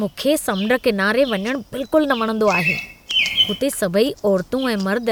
मूंखे समुंड किनारे वञणु बिलकुलु न वणंदो आहे। हुते सभई औरतूं ऐं मर्द